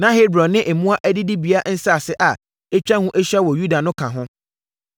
Na Hebron ne mmoa adidibea nsase a atwa ho ahyia wɔ Yuda no ka ho.